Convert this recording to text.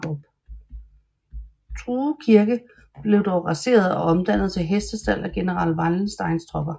True Kirke blev dog raseret og omdannet til hestestald af general Wallensteins tropper